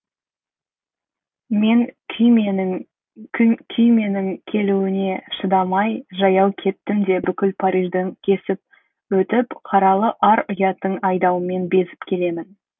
мен күйменің келуіне шыдамай жаяу кеттім де бүкіл парижді кесіп өтіп қаралы ар ұяттың айдауымен безіп келемін